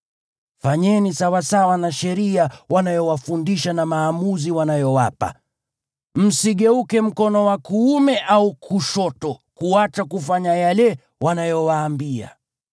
Fanyeni sawasawa na sheria wanayowafundisha na maamuzi wanayowapa. Msigeuke mkono wa kuume au kushoto kuacha kufanya yale wanayowaambia.